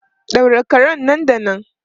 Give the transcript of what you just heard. Daure karen nan da nan!